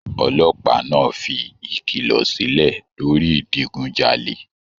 Olópàá náà fí ìkìlọ silẹ lórí idigunjale.